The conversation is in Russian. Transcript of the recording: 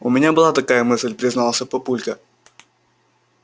у меня была такая мысль признался папулька